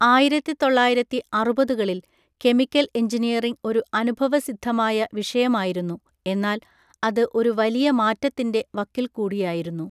ആയിരത്തി തൊള്ളായിരത്തി അറുപതുകളിൽ കെമിക്കൽ എഞ്ചിനീയറിംഗ് ഒരു അനുഭവസിദ്ധമായ വിഷയമായിരുന്നു എന്നാൽ അത് ഒരു വലിയ മാറ്റത്തിന്റെ വക്കിൽ കൂടിയായിരുന്നു.